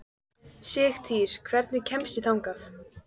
Sigtýr, hvernig kemst ég þangað?